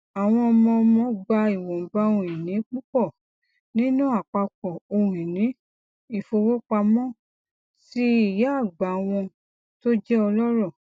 àwọn ọmọ ọmọ gba ìwọnba ohunìní púpọ nínú àpapọ ohunìní ìfowópamọ ti ìyá àgbà wọn tó jẹ ọlọrọ